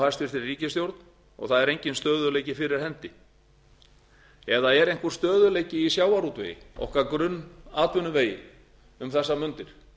hæstvirtri ríkisstjórn og það er enginn stöðugleiki fyrir hendi eða er einhver stöðugleiki í sjávarútvegi okkar grunnatvinnuvegi um þessar mundir